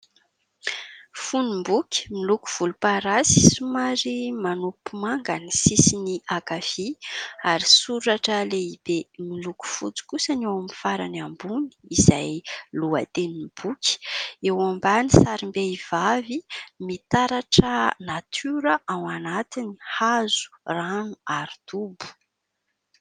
fonomboky miloko volom-parasy somary manopy manga ny sisyny ankavia ary soratra lehibe miloko fotsy kosa ny eo amin'ny farany ambony izay lohaten'ny boky eo ambany sarimbehivavy mitaratra natiora ao anatin'ny hazo rano ary dobo